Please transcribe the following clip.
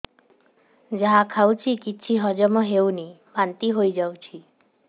ଯାହା ଖାଉଛି କିଛି ହଜମ ହେଉନି ବାନ୍ତି ହୋଇଯାଉଛି